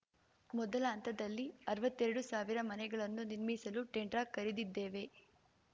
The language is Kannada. ಮೊದಲ ಹಂತದಲ್ಲಿ ಅರ್ವತ್ತೆರಡು ಸಾವಿರ ಮನೆಗಳನ್ನು ನಿರ್ಮಿಸಲು ಟೆಂಡ್ರ ಕರೆದಿದ್ದೇವೆ